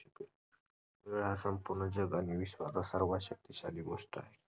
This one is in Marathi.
वेळ हा संपूर्ण जग आणि विश्वाचा सर्वात शक्तीशाली गोष्ट आहे.